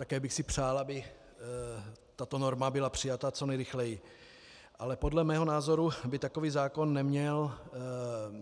Také bych si přál, aby tato norma byla přijata co nejrychleji, ale podle mého názoru by takový zákon neměl